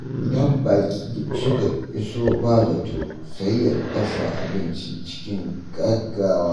Idan baƙi suka iso ba zato, sai ya dafa abinci cikin gaggawa.